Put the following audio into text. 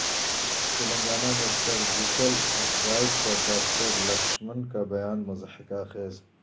تلنگانہ میں surgical strike پر doctor Laxman کا بیان مضحکہ خیز